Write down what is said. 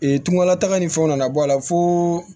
tungalataga ni fɛnw nana bɔ a la fo